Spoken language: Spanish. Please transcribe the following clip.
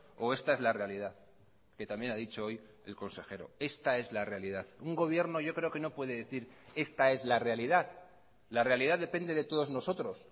o esta es la realidad que también ha dicho hoy el consejero esta es la realidad un gobierno yo creo que no puede decir esta es la realidad la realidad depende de todos nosotros